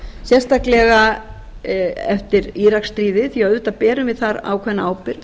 sérstaklega eftir íraksstríðið því auðvitað berum við þar ákveðna ábyrgð